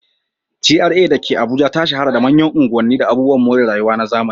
GRA da ke Abuja ta shahara da manyan unguwanni da abubuwan more rayuwa na zamani.